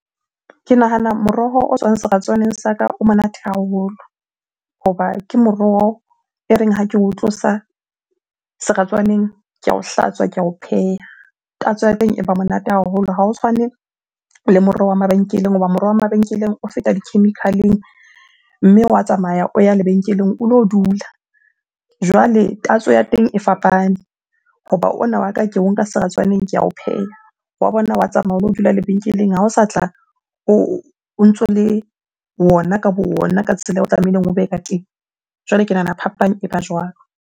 Ke nahana moroho o tswang seratswaneng sa ka o monate haholo. Hoba ke moroho e reng ha ke o tlosa seratswaneng ke ao hlatswa, ke ao pheha. Tatso ya teng e ba monate haholo. Ha ho tshwane le moroho wa mabenkeleng hoba moroho wa mabenkeleng o feta di-chemical-eng, mme wa tsamaya o ya lebenkeleng o lo dula. Jwale tatso ya teng e fapane hoba ona wa ka, ke o nka seratswaneng ke ao pheha. Wa bona wa tsamaya o lo dula lebenkeleng, ha o sa tla o ntso le wona ka bo ona ka tsela eo o tlamehileng o be ka teng. Jwale ke nahana phapang e ba jwalo.